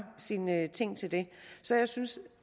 sine ting til det så jeg synes at